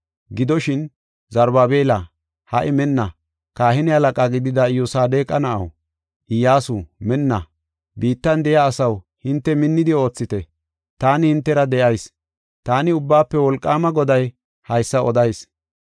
Gidoshin, Zarubaabela, ha77i minna! Kahine halaqa gidida Iyyosadeqa na7aw, Iyyasu minna! Biittan de7iya asaw hinte minnidi oothite! Taani hintera de7ayis. Taani Ubbaafe Wolqaama Goday haysa odayis.